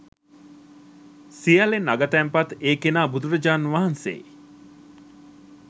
සියල්ලෙන් අග තැන්පත් ඒ කෙනා බුදුරජාණන් වහන්සේයි.